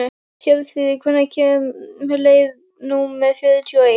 Hjörfríður, hvenær kemur leið númer fjörutíu og eitt?